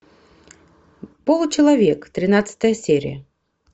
получеловек тринадцатая серия